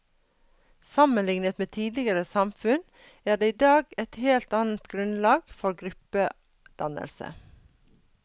Sammenliknet med tidligere samfunn er det i dag et helt annet grunnlag for gruppedannelse.